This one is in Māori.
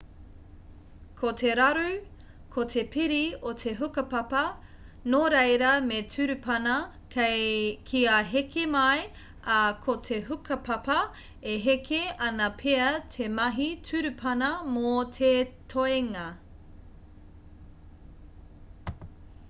ko te raru ko te piri o te hukapapa nō reira me turupana kia heke mai ā ko te hukapapa e heke ana pea te mahi turupana mō te toenga